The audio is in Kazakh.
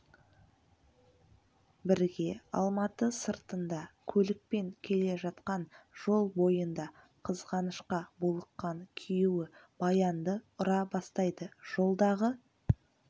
бірге алматы сыртында көлікпен келе жатқан жол бойында қызғанышқа булыққан күйеуі баянды ұра бастайды жолдағы